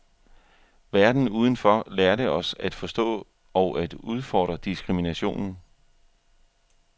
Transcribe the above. Verden udenfor lærte os at forstå og at udfordre diskriminationen.